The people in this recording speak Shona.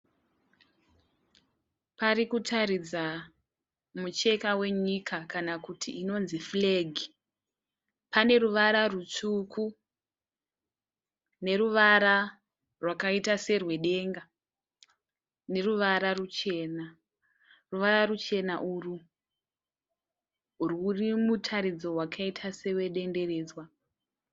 Parikuratidza micheka wenyika kana kuti inonzi furegi. Pane ruvara rutsvuku, neruvara rwakaita serwedenga. Neruvara rwuchena. Ruvara rwuchena urwu rwurimutaridzo wakaita sedenderedzwa.